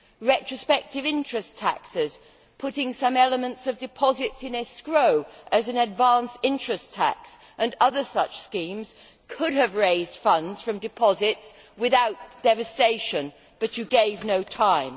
Retrospective interest taxes, putting some elements of deposits in escrow as an advance interest tax, and other such schemes could have raised funds from deposits without devastation, but you gave no time.